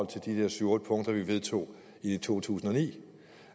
til de der syv otte punkter vi vedtog i to tusind og ni